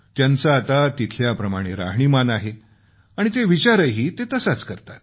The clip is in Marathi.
त्यांचं आता तिथल्याप्रमाणे राहणीमान आहे आणि विचारही ते तसाच करतात